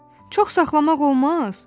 Çox saxlamaq olmaz?